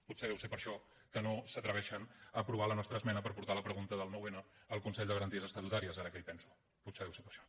potser deu ser per això que no s’atreveixen a aprovar la nostra esmena per portar la pregunta del noun al consell de garanties estatutàries ara que hi penso potser deu ser per això